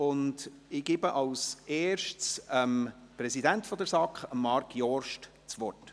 Ich erteile zuerst dem Präsidenten der SAK, Marc Jost, das Wort.